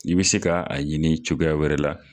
I be se ka a ɲini cogoya wɛrɛ la